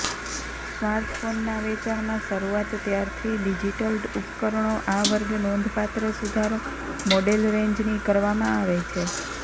સ્માર્ટફોનના વેચાણમાં શરૂઆત ત્યારથી ડિજિટલ ઉપકરણો આ વર્ગ નોંધપાત્ર સુધારો મોડેલ રેંજની કરવામાં આવી છે